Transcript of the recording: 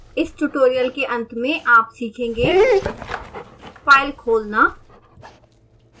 इस ट्यूटोरियल के अंत में आप सीखेंगे फाइल खोलना